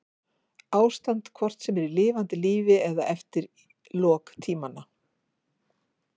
Ástand hvort sem er í lifanda lífi eða eftir lok tímanna.